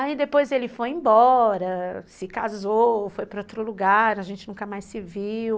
Aí depois ele foi embora, se casou, foi para outro lugar, a gente nunca mais se viu.